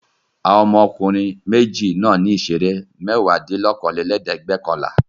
Àwọn ọmọkùnrin méjì náà ní ìṣeré mẹ́wàádínlókòólélẹ́ẹ̀dẹ́gbẹ̀ọ̀kànlá.